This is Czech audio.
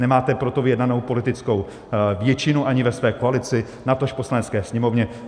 Nemáte pro to vyjednanou politickou většinu ani ve své koalici, natož v Poslanecké sněmovně.